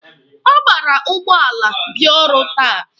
Ọ gbara ụgbọala bịa ọrụ taa.